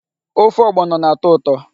Ofe ọgbọnọ na-atọ ụtọ.